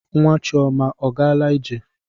Nwa Chioma ọ gaala ije?